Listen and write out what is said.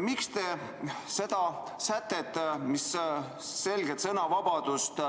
Miks te seda sätet, mis selgelt sisustab sõnavabaduse